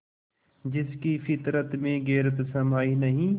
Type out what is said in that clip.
जिसकी फितरत में गैरत समाई नहीं